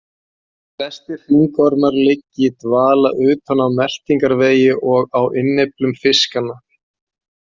Flestir hringormar liggja í dvala utan á meltingarvegi og á innyflum fiskanna.